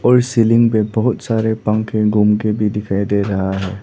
और सीलिंग पे बहुत सारे पंखे घूम के भी दिखाई दे रहा है।